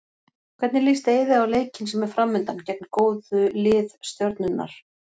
Hvernig líst Eiði á leikinn sem er framundan, gegn góðu lið Stjörnunnar?